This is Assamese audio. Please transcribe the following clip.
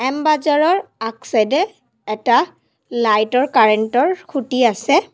এম বজাৰৰ আগ চাইড এ এটা লাইট ৰ কাৰেণ্ট ৰ খুঁটি আছে।